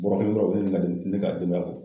Bɔɔrɔ kelen dɔrɔn o bɛ ne ni den ne ka denbaya bɔ.